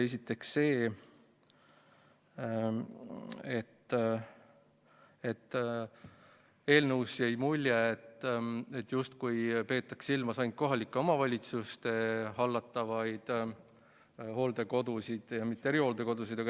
Esiteks, eelnõust jäi mulje, justkui peetaks silmas ainult kohalike omavalitsuste hallatavaid hooldekodusid, mitte aga erihooldekodusid.